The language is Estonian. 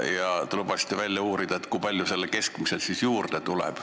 Ja te lubasite välja uurida, kui palju sellele keskmisele siis juurde tuleb.